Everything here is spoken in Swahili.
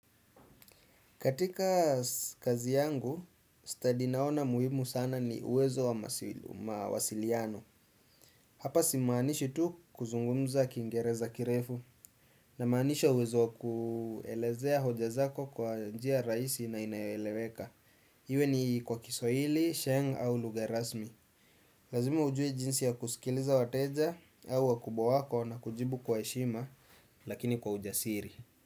Katika kazi yangu, study naona muhimu sana ni uwezo wa mawasiliano. Hapa simaanishi tu kuzungumza kiingereza kirefu. Namaanisha uwezo wa kuelezea hoja zako kwa njia rahisi na inayoeleweka. Iwe ni kwa kiswahili, sheng' au lugha rasmi. Lazima ujue jinsi ya kusikiliza wateja au wakubwa wako na kujibu kwa heshima lakini kwa ujasiri.